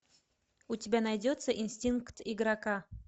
у тебя найдется инстинкт игрока